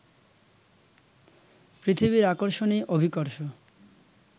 পৃথিবীর আকর্ষণই অভিকর্ষ